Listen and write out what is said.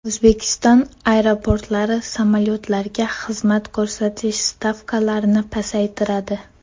O‘zbekiston aeroportlari samolyotlarga xizmat ko‘rsatish stavkalarini pasaytiradi.